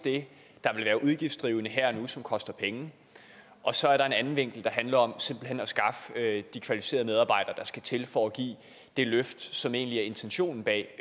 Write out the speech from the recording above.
det der vil være udgiftsdrivende her og nu og som koster penge og så er der en anden vinkel der handler om simpelt hen at skaffe de kvalificerede medarbejdere der skal til for at give det løft som egentlig er intentionen bag